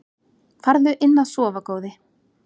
Farðu inn að sofa góði.